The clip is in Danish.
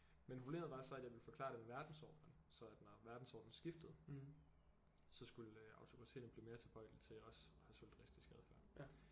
Men problemet var så at jeg ville forklare det med verdensordnen så at når verdensordnen skiftede så skulle øh autokratierne blive mere tilbøjelige til også at have solidaristisk adfærd